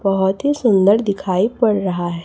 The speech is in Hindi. बहोत ही सुंदर दिखाई पड़ रहा है।